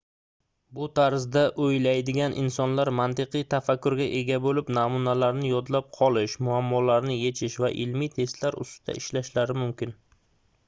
bu tarzda oʻylaydigan insonlar mantiqiy tafakkurga ega boʻlib namunalarni yodlab qolish muammolarni yechish va ilmiy testlar ustida ishlashlari mumkin